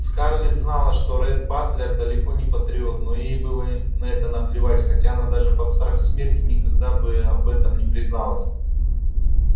скарлетт знала что ретт батлер далеко не патриот но ей было на это наплевать хотя она даже под страхом смерти никогда бы об этом не призналась